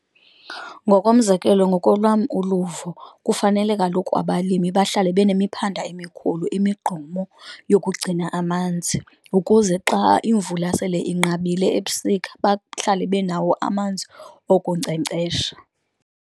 Ngokomzekelo, ngokolwam uluvo kufanele kaloku abalimi bahlale benemiphanda emikhulu, imigqomo yokugcina amanzi, ukuze xa imvula sele inqabile ebusika bahlale benawo amanzi okunkcenkcesha.